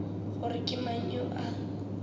gore ke mang yo a